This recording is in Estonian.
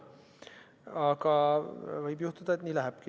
Aga võib juhtuda, et nii lähebki.